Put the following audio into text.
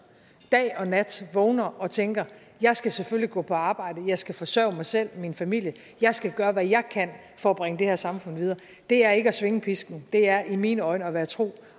dag og nat vågner og tænker jeg skal selvfølgelig gå på arbejde jeg skal forsørge mig selv og min familie jeg skal gøre hvad jeg kan for at bringe det her samfund videre det er ikke at svinge pisken det er i mine øjne at være tro